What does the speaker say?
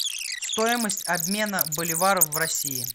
стоимость обмена боливара в россии